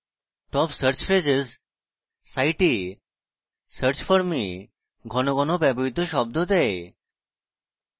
top search phrases site search forms ঘন ঘন ব্যবহৃত শব্দ দেয়